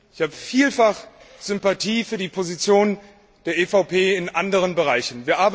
Ich habe vielfach Sympathie für die Positionen der EVP in anderen Bereichen.